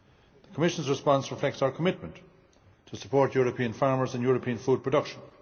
The Commission's response reflects our commitment to support European farmers and European food production.